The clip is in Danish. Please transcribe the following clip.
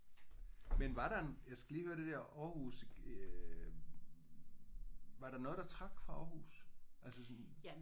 Men var der en jeg skal lige høre det der Aarhus øh var der noget der trak fra Aarhus? Altså sådan